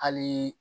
Hali